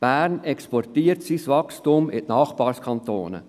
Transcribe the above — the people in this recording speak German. Bern exportiert sein Wachstum in die Nachbarkantone.